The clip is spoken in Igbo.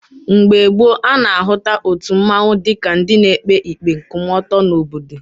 Mgbe gboo, a na-ahụta otu mmanwụ dịka ndị na-ekpe ikpe nkwụmọtọ n'obodo.